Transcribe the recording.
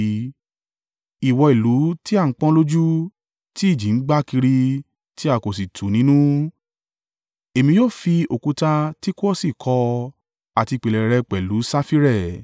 Ìwọ ìlú tí a pọ́n lójú, tí ìjì ń gbá kiri tí a kò sì tù nínú, Èmi yóò fi òkúta Tikuosi kọ́ ọ àti ìpìlẹ̀ rẹ pẹ̀lú safire.